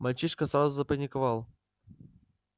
мальчишка сразу запаниковал